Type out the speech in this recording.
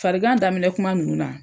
Farigan daminɛ kuma ninnu na